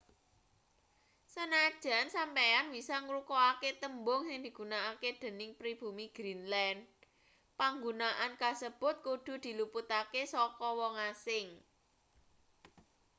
sanajan sampeyan bisa ngrungokake tembung sing digunakake dening pribumi greenland panggunaan kasebut kudu diluputake saka wong asing